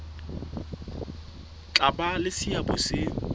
tla ba le seabo se